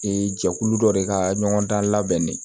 Ee jɛkulu dɔ de ka ɲɔgɔn dan labɛnnen